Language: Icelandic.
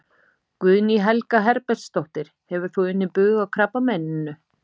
Guðný Helga Herbertsdóttir: Hefur þú unnið bug á krabbameininu?